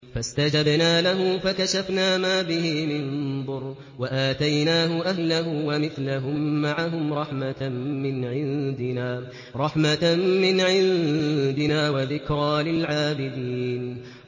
فَاسْتَجَبْنَا لَهُ فَكَشَفْنَا مَا بِهِ مِن ضُرٍّ ۖ وَآتَيْنَاهُ أَهْلَهُ وَمِثْلَهُم مَّعَهُمْ رَحْمَةً مِّنْ عِندِنَا وَذِكْرَىٰ لِلْعَابِدِينَ